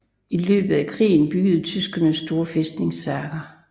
I løbet af krigen byggede tyskerne store fæstningsværker